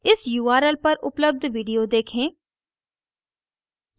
इस url पर उपलब्ध video देखें